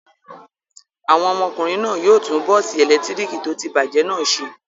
Àwọn ọmọkùnrin náà yóò tún bọ́ọ́sì ẹ̀lẹ́tíríkì tó ti bàjẹ́ náà ṣe.